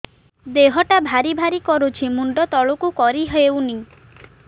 ଦେହଟା ଭାରି ଭାରି କରୁଛି ମୁଣ୍ଡ ତଳକୁ କରି ହେଉନି